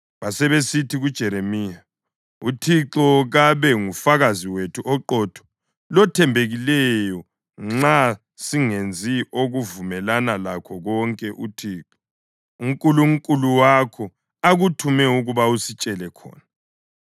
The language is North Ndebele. Basebesithi kuJeremiya, “UThixo kabe ngufakazi wethu oqotho lothembekileyo nxa singenzi okuvumelana lakho konke uThixo uNkulunkulu wakho akuthuma ukuba usitshele khona.